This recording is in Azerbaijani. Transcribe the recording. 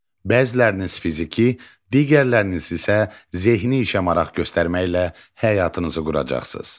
Bəziləriniz fiziki, digərləriniz isə zehni işə maraq göstərməklə həyatınızı quracaqsınız.